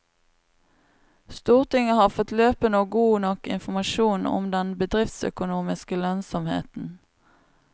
Stortinget har fått løpende og god nok informasjon om den bedriftsøkonomiske lønnsomheten.